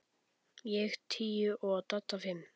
Ég tíu og Dadda fimm.